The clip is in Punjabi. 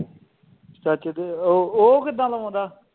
ਚਾਚੇ ਦੇ ਉਹ ਉਹ ਕਿਦਾਂ ਲਵਾਉਂਦਾ